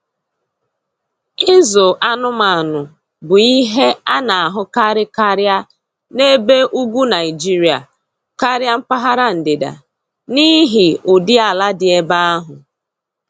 Ịzụ anụmanụ bụ ihe a na-ahụkarị karịa na n'ebe ugwu Naịjirịa karịa mpaghara ndịda, n’ihi ụdị ala dị ebe ahụ.